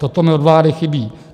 Toto mi od vlády chybí.